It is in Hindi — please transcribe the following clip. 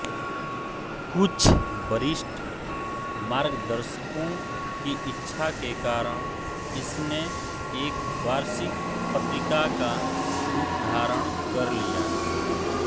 कुछ वरिष्ठ मार्गदर्शकों की इच्छा के कारण इसने एक वार्षिक पत्रिका का रूपधारण कर लिया